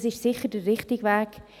Dies ist sicher der richtige Weg.